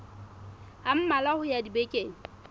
a mmalwa ho ya dibekeng